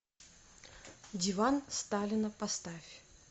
диван сталина поставь